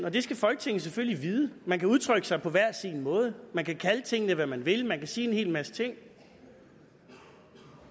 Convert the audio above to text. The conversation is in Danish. og det skal folketinget selvfølgelig vide man kan udtrykke sig på hver sin måde man kan kalde tingene hvad man vil man kan sige en hel masse ting